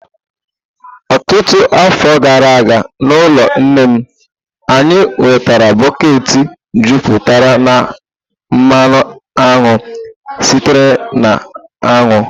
Ọtụtụ afọ gara aga, n'ụlọ nne m, anyị nwetara bọket jupụtara na mmanụ aṅụ sitere na aṅụ.